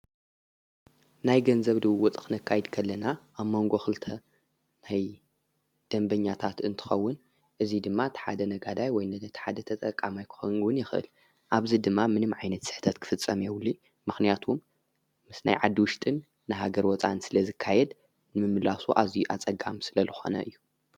ናይ ገንዘብ ድው ወፅኽነካይድከለና ኣብ መንጎኽልተ ናይ ደንበኛታት እንትኸውን እዙይ ድማ ተሓደ ነጋዳይ ወይ ነደ ተሓደ ተጠቃማ ኣይኮንውን የኽህል ኣብዚ ድማ ምንም ዓይነት ሰኅታት ክፍጸም የውልየ ምኽንያቱም ምስ ናይ ዓድውሽጥን ንሃገር ወፃን ስለ ዝካየድ ምምላሱ ኣዙይ ኣጸጋም ስለ ለኾነ እዩ።